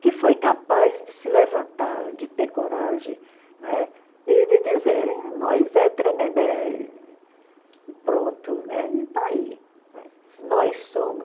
que foi capaz de se levantar, de ter coragem, né, e de dizer, nós é Tremembé e pronto, né, e está aí. Nós somos